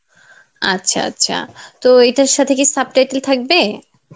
আচ্ছা আচ্ছা তো এইটার সাথে কি subtitle থাকবে?